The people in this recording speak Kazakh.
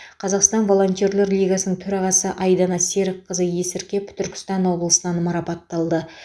қазақстан волонтерлер лигасының төрағасы айдана серікқызы есіркеп түркістан облысынан марапатталды